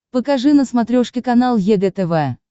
покажи на смотрешке канал егэ тв